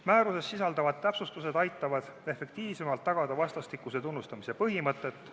Määruses sisalduvad täpsustused aitavad efektiivsemalt tagada vastastikuse tunnustamise põhimõtet.